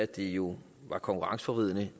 det jo konkurrenceforvridende